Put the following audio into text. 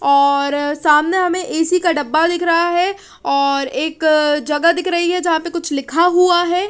और सामने हमें ए_सी का डब्बा दिख रहा है और एक जगह दिख रही है जहां पे कुछ लिखा हुआ है।